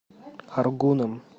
аргуном